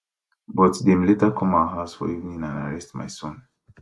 but dem later come our house for evening and arrest my son